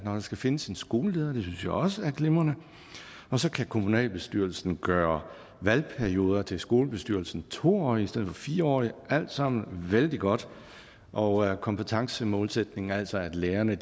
når der skal findes en skoleleder det synes jeg også er glimrende og så kan kommunalbestyrelsen gør valgperioden til skolebestyrelsen to årig i stedet for fire årig alt sammen vældig godt og kompetencemålsætningen altså at lærerne